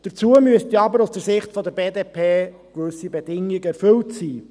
Dazu müssten jedoch aus Sicht der BDP gewisse Bedingungen erfüllt sein: